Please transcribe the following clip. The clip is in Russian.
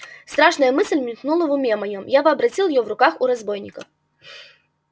страшная мысль мелькнула в уме моём я вообразил её в руках у разбойников